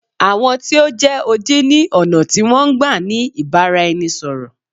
Àwọn tí o jẹ́ odi ni ọ̀nà tí wọn n gbá ni ìbáraẹnisọ̀rọ̀.